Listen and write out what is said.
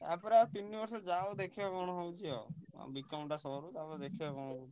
ତା ପରେ ଆଉ ତିନି ବର୍ଷ ଯଉ ଦେଖିଆ କଣ ହଉଛି ଆଉ B.Com ଟା ସରୁ ତା'ପରେ ଦେଖିଆ କଣ ହଉଛି ଆଉ।